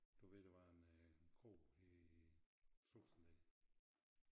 Du ved der var en øh en kro her i Strucksalle